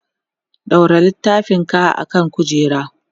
ɗaura littafin ka akan kujera!